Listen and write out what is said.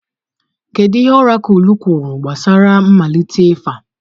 Kedu ihe ọrakụlụ kwuru gbasara mmalite ịfa?